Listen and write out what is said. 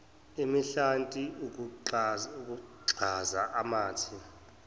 imihlati ukugxaza amathe